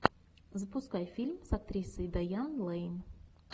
запускай фильм с актрисой дайан лэйн